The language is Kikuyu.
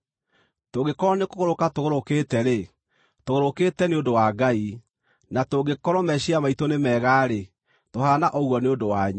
Tũngĩkorwo nĩkũgũrũka tũgũrũkĩte-rĩ, tũgũrũkĩte nĩ ũndũ wa Ngai; na tũngĩkorwo meciiria maitũ nĩ mega-rĩ, tũhaana ũguo nĩ ũndũ wanyu.